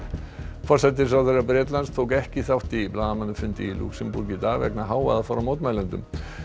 forsætisráðherra Bretlands tók ekki þátt í blaðamannafundi í Lúxemborg í dag vegna hávaða frá mótmælendum